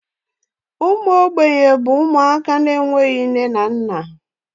Ụmụ mgbei bụ ụmụaka na-enweghị nne na nna.